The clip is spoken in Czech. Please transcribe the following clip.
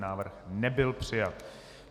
Návrh nebyl přijat.